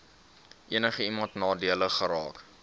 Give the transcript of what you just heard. enigiemand nadelig geraak